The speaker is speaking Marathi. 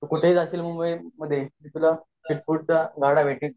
तू कुठे हि जाशील मुंबई मध्ये तुला स्ट्रीट फुडच्या गाड्या भेटील